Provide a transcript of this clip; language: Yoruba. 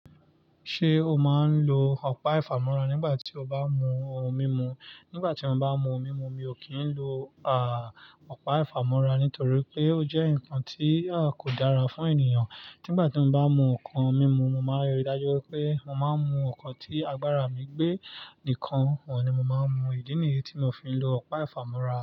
Ṣé o máa ń lo ọ̀pá ìfámọ́ra nígbà tí o bá mú ohun mímu? Nígbà tí mo bá mú ohun mímu, mi ò kí ń lo à, ọ̀pá ìfámọ́ra, nítorí pé ó jẹ́ nǹkan tí a kò dára fún ènìyàn. Nígbà tí mo bá mú nǹkan mímu, mo máa ríi dájú pé mo máa mú nǹkan tí agbára mi gbé nìkan, òun ni mo máa ń mu. Idi nìyí tí mi o fi lo ọ̀pá ìfámọ́ra.